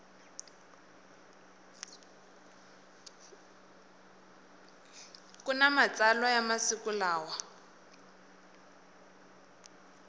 kuna matsalwa ya masiku lawa